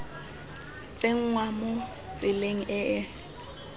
tsenngwa mo tseleng e e